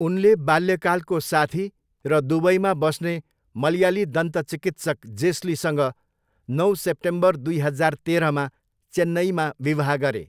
उनले बाल्यकालको साथी र दुबईमा बस्ने मलयाली दन्तचिकित्सक जेस्लीसँग नौ सेप्टेम्बर दुई हजार तेह्रमा चेन्नईमा विवाह गरे।